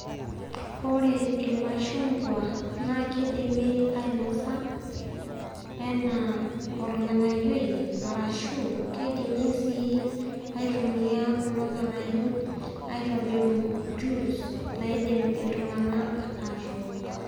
ore ilmashungwa naa keidimi ainosa anaa olng'anayioi arashu keidimi sii aitumiya kulo ng'anayo aitobiru jus naidim ltung'ana atook.